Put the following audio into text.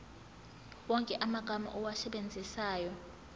wonke amagama owasebenzisayo